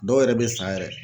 Dɔw yɛrɛ be sa yɛrɛ.